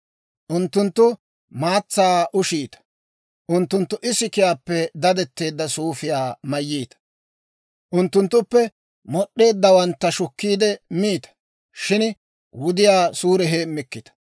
Unttunttu maatsaa ushiita; unttunttu isikiyaappe dadetteedda suufiyaa mayiita; unttunttuppe mod'd'eeddawantta shukkiide miita; shin wudiyaa suure heemmikkita.